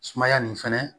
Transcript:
Sumaya nin fɛnɛ